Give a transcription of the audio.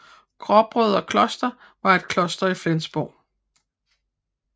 Gråbrødreklosteret var et kloster i Flensborg